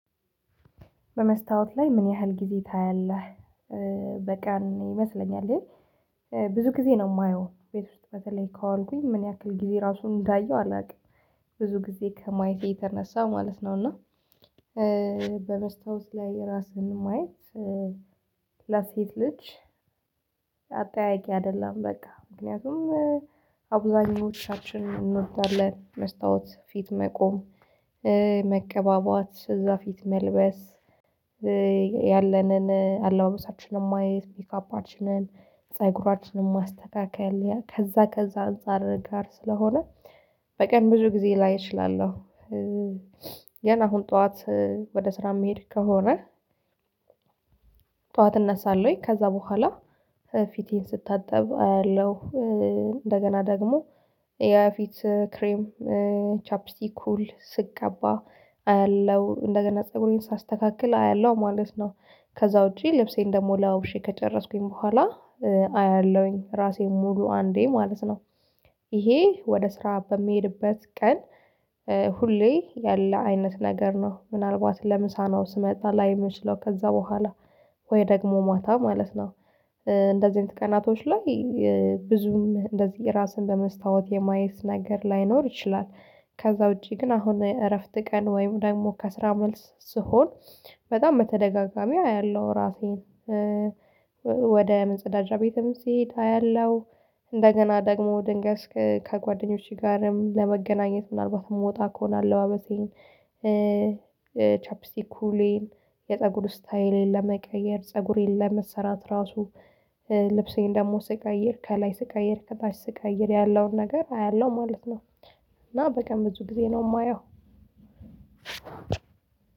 በመስታወት ላይ ምን ያህል ጊዜ ታያለህ? በቃ ይመስለኛል። ብዙ ጊዜ ነው የማየው ቤት ውስጥ በተለይ ካዋልኩኝ ምን ያክል ጊዜ ራሱን እንዳየው አላውቅም ብዙ ጊዜ ከማይቴ የተነሳ ማለት ነው። እና በበስታውት ላይ የራስህን ማየት ላሴት ልጅ አጠያያቂ አይደለም በቃ ምክንያቱም አብዛኞቻችን እንወዳለን መስታወት ፊት መቆም። መቀባባት ስዛ ፊት መልበስ ያለንን አለማመሳችንን ማየት ፒካፓችንን ፀጉራችንን ማስተካከል ከዛ ከዛ አንፃር ጋር ስለሆነ። በቀን ብዙ ጊዜ ላይ እችላለሁ። ገና አሁን ጠዋት ወደ ስራ የሚሄድ ከሆነ። ጠዋት እነሳለሁኝ ከዛ በኋላ ፊቴን ስታጠብ አያለሁ። እንደገና ደግሞ የፊት ክሬም ቻፒስቲክ ኩል ስቀባ አያለሁ እንደገና ፀጉሬን ሳስተካክል አያለሁ ማለት ነው። ከዛ ውጪ ልብሴን ደግሞ ለባብሼ ከጨረስኩኝ በኋላ አያለሁኝ ራሴን ሙሉ አንዴ ማለት ነው። ይሄ ወደ ስራ በሚሄድበት ቀን ሁሌ ያለ አይነት ነገር ነው ምናልባት ለምሳ ነው ስመጣ ላይ የምንችለው ከዛ በኋላ ወይ ደግሞ ማታ ማለት ነው። እንደዚህ አይነት ቀናቶች ላይ ብዙም እንደዚህ ራስን በመስታወት የማየት ነገር ላይኖር ይችላል። ከዛ ውጪ ግን አሁን እረፍት ቀን ወይም ደግሞ ከስራ መልስ ስሆን በጣም በተደጋጋሚ አያለሁ ራሴን ወደ መጸዳጃ ቤትም ስሄድ አያለሁ። ደግሞ ድንገት ከጓደኞቼ ጋርም ለመገናኘት ምናልባት የምወጣ ከሆነ አለባበሴን ቻፒስቲክ ኩሌን የፀጉር ስታይሌን ለመቀየር ፀጉሬን ለመሰራት ራሱ ልብሴን ደግሞ ስቀይር አየር ከላይ ስቃይ አየር ከታች ስቃይ አየር ያለውን ነገር አያለው ማለት ነው። እና በቃ ብዙ ጊዜ ነው የማየው።